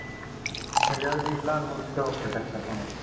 म्हणजे अगदी लहान मुलं सुद्धा वापरू शकता म्हणायच